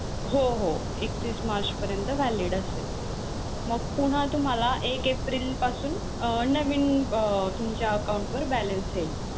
हो हो एकतीस मार्च परियंत valid असेल मग पुन्हा तुम्हाला एक एप्रिल पासून अं नवीन अं तुमच्या account वर balance येईल.